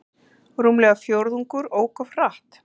Rúmlega fjórðungur ók of hratt